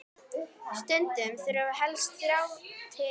Stundum þurfi helst þrjá til.